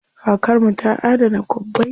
Kakar mu ta adana kwabbai.